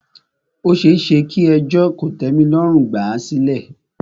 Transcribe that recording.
Ó ṣeéṣe kí ẹjọ́ kòtẹ́milọ́rùn gbà à sílẹ̀.